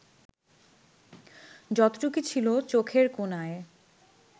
যতটুকু ছিল চোখের কোণায়